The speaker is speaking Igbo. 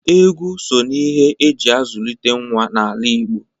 Egwu so n'ihe e ji azụlite nwa n'ala Igo